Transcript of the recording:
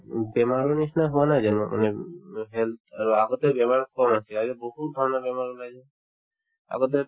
উম বেমাৰৰ নিচিনা হোৱা নাই জানো মানে উম health আগতে বেমাৰ কম আছিল আজিকালি বহুতধৰণৰ বেমাৰ ওলাইছে আগতে